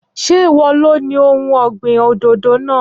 Ṣé ìwọ lo ni ohun ọ̀gbìn òdòdó náà?